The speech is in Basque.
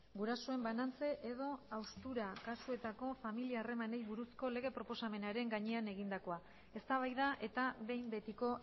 gurasoen banantze edo haustura kasuetako familia harremanei buruzko lege proposamenaren gainean egindakoa eztabaida eta behin betiko